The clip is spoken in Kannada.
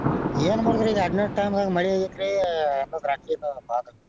ಏನ್ ಮಾಡೋದ್ರಿ ಇದ ಅಡ್ನಾಡ time ದಾಗ ಮಳಿ ಆಗೇತ್ರಿ ಎಲ್ಲಾ ದ್ರಾಕ್ಷಿಯೆಲ್ಲಾ ಬಾದ ಆಗೇತಿ.